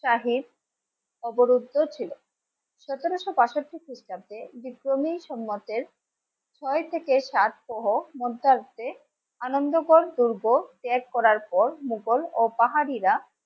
ছিল. সতেরোশো পঁয়ষট্টি সালে শ্রী ক্রমী সংগতের ছয় থেকে সাতশো হোক মন থাকবে. আনন্দকর দুর্গ ত্যাগ করার পর মোঘল ও পাহারিরা